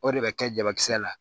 O de bɛ kɛ jabakisɛ la